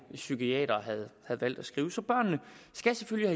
psykiatere havde valgt at skrive så børnene skal selvfølgelig